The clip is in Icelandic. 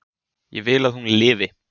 Ég vil að hún lifi.